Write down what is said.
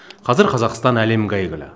қазір қазақстан әлемге әйгілі